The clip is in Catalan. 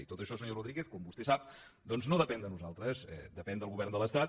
i tot això senyor rodríguez com vostè sap doncs no depèn de nosaltres depèn del govern de l’estat